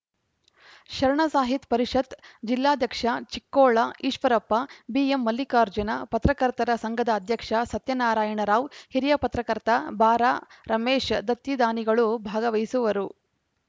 ಶರಣ ಸಾಹಿತ್ ಪರಿಷತ್‌ ಜಿಲ್ಲಾಧ್ಯಕ್ಷ ಚಿಕ್ಕೋಳ ಈಶ್ವರಪ್ಪ ಬಿಎಂಮಲ್ಲಿಕಾರ್ಜುನ ಪತ್ರಕರ್ತರ ಸಂಘದ ಅಧ್ಯಕ್ಷ ಸತ್ಯನಾರಾಯಣ ರಾವ್‌ ಹಿರಿಯ ಪತ್ರಕರ್ತ ಬಾರಾಮಹೇಶ್ ದತ್ತಿ ದಾನಿಗಳು ಭಾಗವಹಿಸುವರು